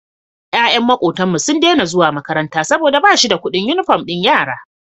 Yayan makotan mu sun Daina zuwa makaranta saboda bashida Ƙudin inufom din yaran